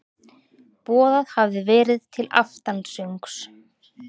Boðað hafði verið til aftansöngs.